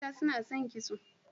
Mata suna son kitso.